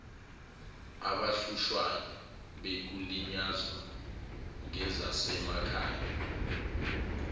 abahlushwayo bekulinyazwa ngezasemakhay